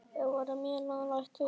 Við vorum mjög nálægt því.